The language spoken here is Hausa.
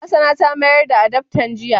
Hassana ta mayar da adaftan jiya.